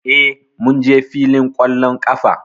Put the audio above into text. Eh, mun je fillin ƙwallon ƙafa